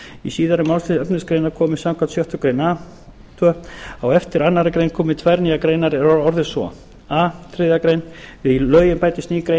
í síðari málslið efnismálsgreinar komi samkvæmt sjöttu grein a aðra á eftir annarri grein komi tvær nýjar greinar er orðist svo a við lögin bætist ný grein er